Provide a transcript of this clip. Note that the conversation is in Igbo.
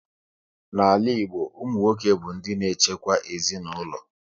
N'ala Igbo, ụmụ nwoke bụ ndị na echekwa ezinaụlọ